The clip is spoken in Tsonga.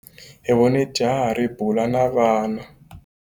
Hi vone jaha ri bula na vana.